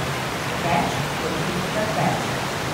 Več kot petkrat več.